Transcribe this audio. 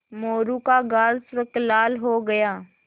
मोरू का गाल सुर्ख लाल हो गया